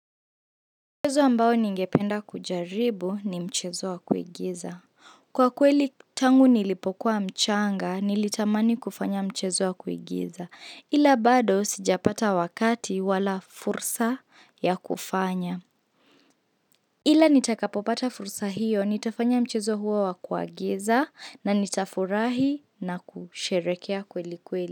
Mchezo ambao ningependa kujaribu ni mchezo wa kuigiza. Kwa kweli tangu nilipokuwa mchanga, nilitamani kufanya mchezo wa kuigiza. Ila bado sijapata wakati wala fursa ya kufanya. Ila nitakapopata fursa hiyo, nitafanya mchezo huo wa kuagiza na nitafurahi na kusherehekea kweli kweli.